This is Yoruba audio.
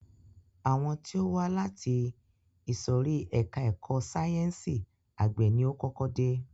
Àwọn tí ó wá láti ìsòrí ẹka ẹ̀kọ́ sáyẹnsì àgbẹ̀ ni o kọ́kọ́ dé.